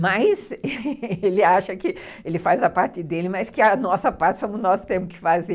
Mas ele acha que ele faz a parte dele, mas que a nossa parte somos nós que temos que fazer.